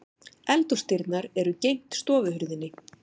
Eldhúsdyrnar eru gegnt stofuhurðinni.